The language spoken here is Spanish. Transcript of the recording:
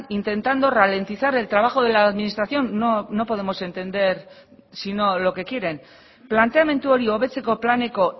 intentando ralentizar el trabajo de la administración no podemos entender sino lo que quieren planteamendu hori hobetzeko planeko